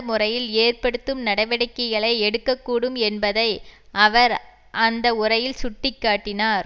முறையில் ஏற்படுத்தும் நடவடிக்கைகளை எடுக்க கூடும் என்பதை அவர் அந்த உரையில் சுட்டி காட்டினார்